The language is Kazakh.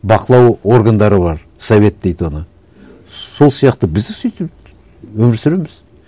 бақылау органдары бар совет дейді оны сол сияқты біз де сөйтіп өмір сүреміз